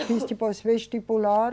Fiz depois vestibular.